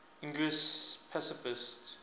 english pacifists